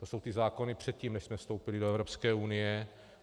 To jsou ty zákony předtím, než jsme vstoupili do Evropské unie.